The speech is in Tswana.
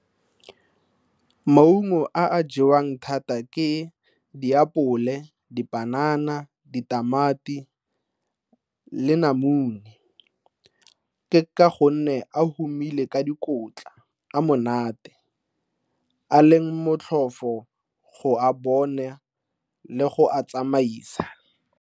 Maungo a a jewang thata ke diapole, dipanana, ditamati le namune. Ke ka gonne a humile ka dikotla, a monate, a leng motlhofo go a bone le go a tsamaisa.